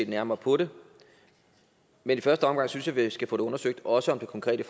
nærmere på det men i første omgang synes jeg at vi skal få det undersøgt også det konkrete